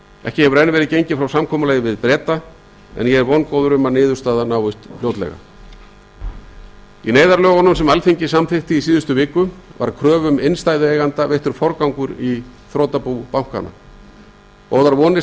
ekki hefur enn verið gengið frá samkomulagi við breta en ég er vongóður um að niðurstaða náist fljótlega í neyðarlögunum sem alþingi samþykkti fyrir viku var kröfum innstæðueigenda veittur forgangur í þrotabúið góðar vonir